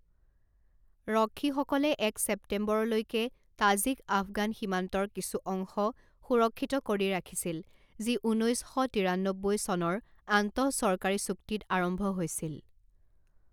ৰক্ষীসকলে এক ছেপ্টেম্বৰলৈকে তাজিক আফগান সীমান্তৰ কিছু অংশ সুৰক্ষিত কৰি ৰাখিছিল যি ঊনৈছ শ তিৰান্নব্বৈ চনৰ আন্তঃচৰকাৰী চুক্তিত আৰম্ভ হৈছিল।